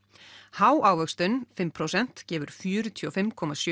há ávöxtun fimm prósent gefur fjörutíu og fimm komma sjö